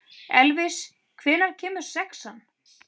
Elvis, hvenær kemur sexan?